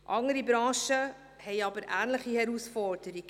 Andere Branchen stehen vor ähnlichen Herausforderungen.